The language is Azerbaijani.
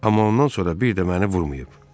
Amma ondan sonra bir də məni vurmayıb.